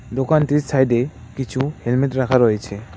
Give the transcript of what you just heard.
দোকানটির সাইডে কিছু হেলমেট রাখা রয়েছে।